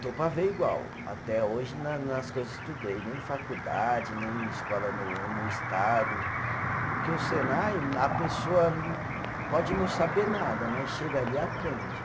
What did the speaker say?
Estou para ver igual, até hoje, na nas que eu estudei, nem faculdade, nem escola no no estado, porque o Senai, a pessoa pode não saber nada, mas chega ali e aprende.